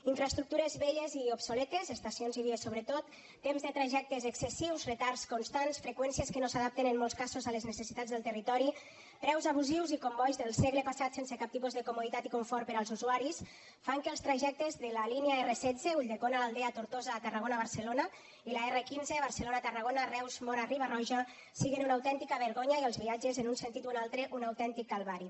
infraestructures velles i obsoletes estacions i vies sobretot temps de trajectes excessius retards constants freqüències que no s’adapten en molts casos a les necessitats del territori preus abusius i combois del segle passat sense cap tipus de comoditat i confort per als usuaris fan que els trajectes de la línia r16 ulldecona l’aldea tortosa a tarragona barcelona i la r15 barcelona tarragona reus móra riba roja siguin una autèntica vergonya i els viatges en un sentit o un altre un autèntic calvari